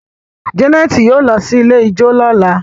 Janet yóò ló sì ilẹ̀ ijọ lọla.